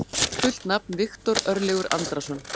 Fullt nafn: Viktor Örlygur Andrason.